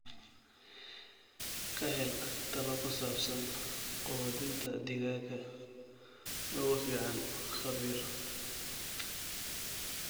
Ka hel talo ku saabsan quudinta digaaga ugu fiican khabiir.